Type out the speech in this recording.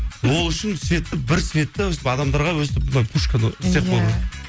ол үшін светті бір светті өстіп адамдарға өстіп мына істеп қою керек